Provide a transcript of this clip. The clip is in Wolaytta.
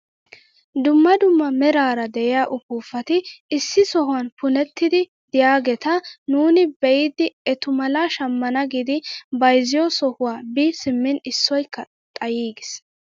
Dumma dumma meerara de'iyaa upuupati issi sohuwaan punettidi de'iyaageta nuuni be'idi etu malaa shammana giidi bayzziyoo sohuwaan bi simmin issoykka xayiigis!